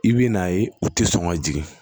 I bɛ n'a ye u tɛ sɔn ka jigin